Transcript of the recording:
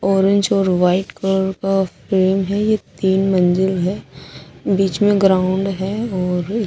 orange और white car का phone है ये तीन मंजिल है बिच में ग्राउंड है और इसमें--